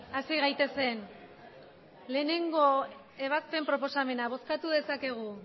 hasi gaitezen batgarrena ebazpen proposamena bozkatu dezakegu